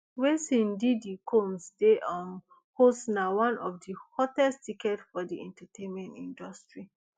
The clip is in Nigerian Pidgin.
wen seen diddy combs dey um host na one of di hottest ticket for di entertainment industry